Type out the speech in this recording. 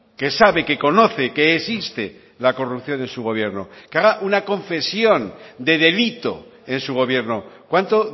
que sabe que conoce que existe la corrupción en su gobierno que haga una confesión de delito en su gobierno cuánto